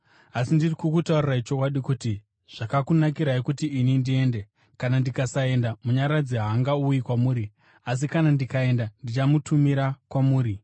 Asi ndiri kukutaurirai chokwadi kuti: Zvakakunakirai kuti ini ndiende. Kana ndikasaenda, Munyaradzi haangauyi kwamuri; asi kana ndikaenda, ndichamutumira kwamuri.